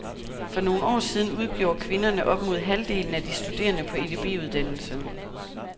For nogle år siden udgjorde kvinderne op mod halvdelen af de studerende på edb-uddannelserne.